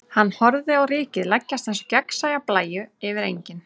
Hann horfir á rykið leggjast eins og gegnsæja blæju yfir engin.